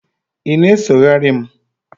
ị na-esogheri m?